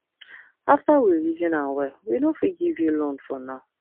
after we reason am well we no fit give you loan for now